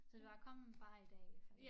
Så det var kom bare i dag